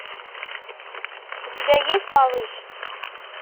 у тебя есть малыш